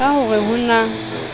ka ho re ho na